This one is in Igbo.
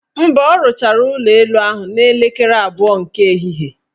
Mba, ha rụchara ụlọelu ahụ n' elekere abụọ nke ehihie.